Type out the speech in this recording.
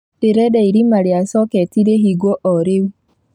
Ndĩrenda irima ria coketi rihingwo o rĩu.